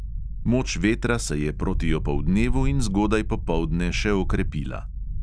Moč vetra se je proti opoldnevu in zgodaj popoldne še okrepila.